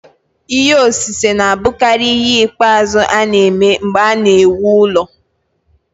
Ihe osise na-abụkarị ihe ikpeazụ a na-eme mgbe a na-ewu ụlọ.